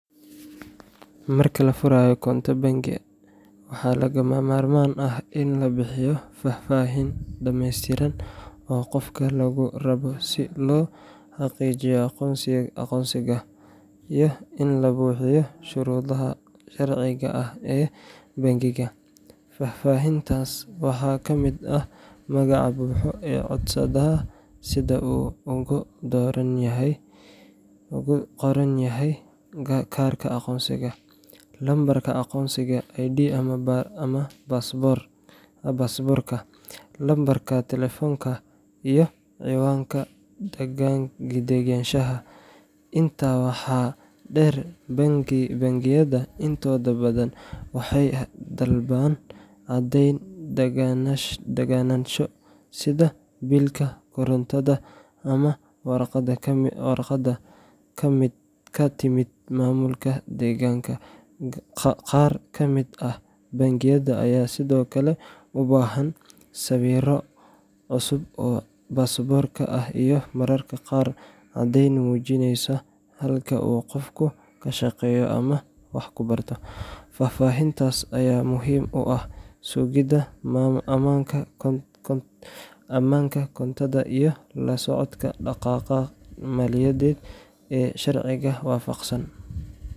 Marka la furayo koonto bangi, waxaa lagama maarmaan ah in la bixiyo faahfaahin dhammeystiran oo qofka laga rabo si loo xaqiijiyo aqoonsigiisa iyo in la buuxiyo shuruudaha sharciga ah ee bangiga. Faahfaahintaas waxaa ka mid ah magaca buuxa ee codsadaha sida uu ugu qoran yahay kaarka aqoonsiga, lambarka aqoonsiga ID ama baasaboorka), lambarka taleefanka, iyo cinwaanka deganaanshaha. Intaa waxaa dheer, bangiyada intooda badan waxay dalbadaan caddeyn deganaansho sida biilka korontada ama warqad ka timid maamulka deegaanka. Qaar ka mid ah bangiyada ayaa sidoo kale u baahan sawir cusub oo baasaboorka ah iyo mararka qaar caddayn muujinaysa halka uu qofku ka shaqeeyo ama wax ku barto. Faahfaahintaas ayaa muhiim u ah sugidda ammaanka koontada iyo la socodka dhaqdhaqaaqa maaliyadeed ee sharciga waafaqsan.